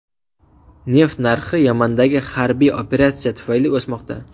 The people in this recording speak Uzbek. Neft narxi Yamandagi harbiy operatsiya tufayli o‘smoqda.